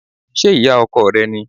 Ṣé ìyá ọkọ rẹ ni?